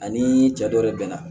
Ani cɛ dɔ de bɛna